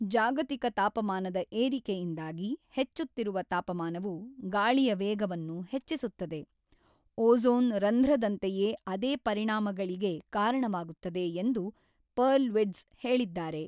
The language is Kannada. ಜಾಗತಿಕ ತಾಪಮಾನದ ಏರಿಕೆಯಿಂದಾಗಿ ಹೆಚ್ಚುತ್ತಿರುವ ತಾಪಮಾನವು ಗಾಳಿಯ ವೇಗವನ್ನು ಹೆಚ್ಚಿಸುತ್ತದೆ, ಓಝೋನ್ ರಂಧ್ರದಂತೆಯೇ ಅದೇ ಪರಿಣಾಮಗಳಿಗೆ ಕಾರಣವಾಗುತ್ತದೆ ಎಂದು ಪರ್ಲ್ವಿಟ್ಜ್ ಹೇಳಿದ್ದಾರೆ.